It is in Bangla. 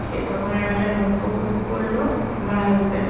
সে তখন এমন একটা নৌকো বুক করলো আমার হাসব্যান্ড ।